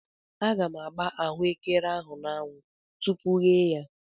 Aga m agba ahụekere ahụ n'anwụ tupu yee ya.